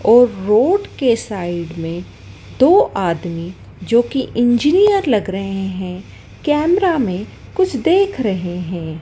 और रोड के साइड में दो आदमी जोकी इंजीनियर लग रहे हैं कैमरा में कुछ देख हैं।